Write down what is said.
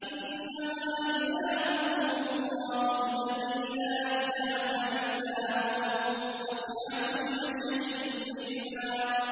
إِنَّمَا إِلَٰهُكُمُ اللَّهُ الَّذِي لَا إِلَٰهَ إِلَّا هُوَ ۚ وَسِعَ كُلَّ شَيْءٍ عِلْمًا